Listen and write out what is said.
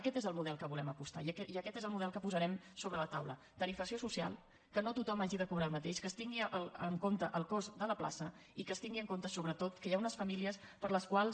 aquest és el model que hi volem apostar i aquest és el model que posarem sobre la taula tarifació social que no tothom hagi de cobrar el mateix que es tingui en compte el cost de la plaça i que es tingui en compte sobretot que hi ha unes famílies per a les quals